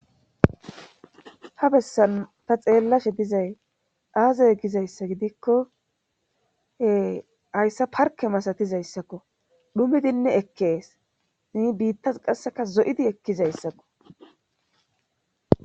ha bessan ta xeellashe dizay aazay gizayssa gidikkohe hayssa parke masatizayssakko dhumidinne ekkees nii biittas qasseka zo7idi ekkizayssakko